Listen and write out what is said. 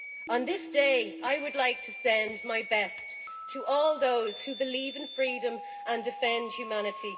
On this day, I would like to send my best to all those who believe in freedom and defend humanity